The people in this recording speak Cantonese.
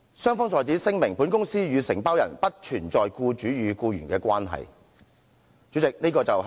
雙方在此聲明，本公司與承包人不存在僱主與僱員的關係。